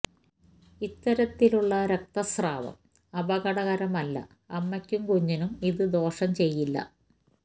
ഇത്തരത്തിലുള്ള രക്ത സ്രാവം അപകടകരമല്ല അമ്മയ്ക്കും കുഞ്ഞിനും ഇത് ദോഷം ചെയ്യില്ല